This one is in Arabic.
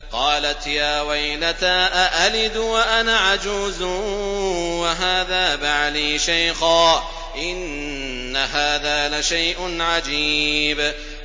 قَالَتْ يَا وَيْلَتَىٰ أَأَلِدُ وَأَنَا عَجُوزٌ وَهَٰذَا بَعْلِي شَيْخًا ۖ إِنَّ هَٰذَا لَشَيْءٌ عَجِيبٌ